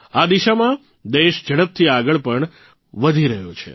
આ દિશામાં દેશ ઝડપથી આગળ પણ વધી રહ્યો છે